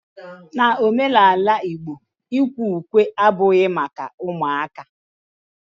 N'omenala igbo, ikwe ukwe abughi maka ụmụaka